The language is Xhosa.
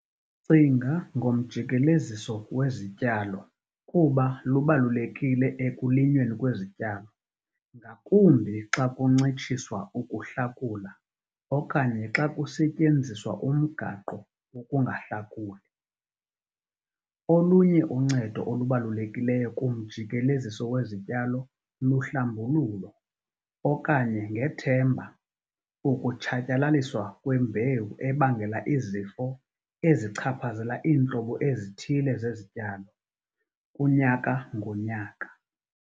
Cinga ngomjikeleziso wezityalo kuba lubalulekile ekulinyweni kwezityalo - ngakumbi xa kuncitshiswa ukuhlakula okanye xa kusetyenziswa umgaqo-wokungahlakuli. Olunye uncedo olubalulekileyo kumjikeleziso wezityalo luhlambululo, okanye ngethemba, ukutshatyalaliswa kwembewu ebangela izifo ezichaphazela iintlobo ezithile zezityalo - kunyaka ngonyaka.